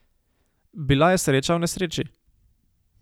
Bila je sreča v nesreči.